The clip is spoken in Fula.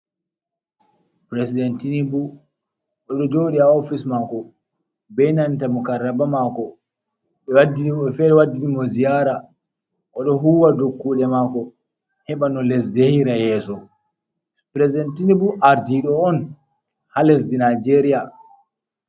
President Tinibu o ɗo joɗi ha ofis mako be nanta mukarraba mako woɓɓe fere waɗɗini mo ziyara. O ɗo huwa kuɗe mako heɓa no lesdi yehira yeso. President Tinibu ardiɗo on ha lesdi Nijeria.